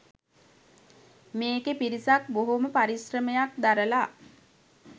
මේකේ පිරිසක් බොහොම පරිශ්‍රමයක් දරලා